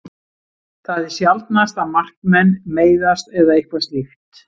Það er sjaldnast að markmenn meiðast eða eitthvað slíkt.